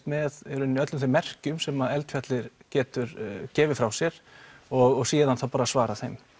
með í rauninni öllum þeim merkjum sem að eldfjallið getur gefið frá sér og síðan þá bara svara þeim